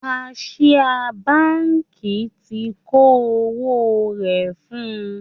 Kaṣiá báǹkì ti kó owó rẹ̀ fún-un